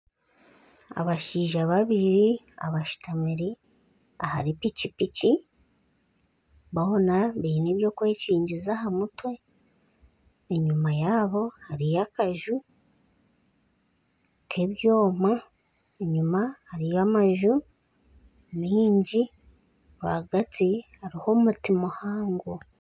Abashaija babiri abashutamire ahari piki piki boona biine eby'okwenkigiza aha mutwe enyuma yaabo hariyo akanju ky'ebyoma enyuma hariyo amanju mingi rwagati hariho omuti muhango.